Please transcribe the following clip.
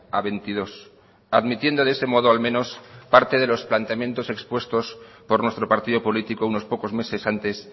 a veintidós admitiendo de ese modo al menos parte de los planteamientos expuestos por nuestro partido político unos pocos meses antes